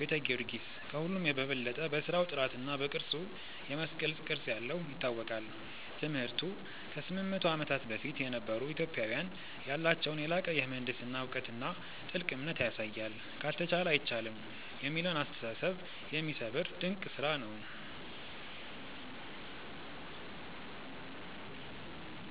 ቤተ ጊዮርጊስ፦ ከሁሉም በበለጠ በሥራው ጥራትና በቅርጹ (የመስቀል ቅርጽ ያለው) ይታወቃል። ትምህርቱ፦ ከ800 ዓመታት በፊት የነበሩ ኢትዮጵያውያን ያላቸውን የላቀ የምህንድስና እውቀትና ጥልቅ እምነት ያሳያል። "ካልተቻለ አይቻልም" የሚለውን አስተሳሰብ የሚሰብር ድንቅ ስራ ነው።